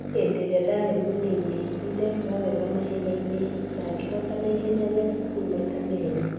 Henderĩa ndarĩ mũnini nĩndekaga wega mahenya-inĩ na gehotana ihenya rĩa cũkuru maita merĩ